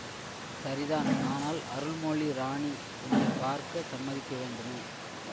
சரிதான் ஆனால் அருள்மொழி ராணி உன்னை பார்க்க சம்மதிக்க வேண்டுமே